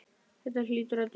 Þetta hlýtur að duga.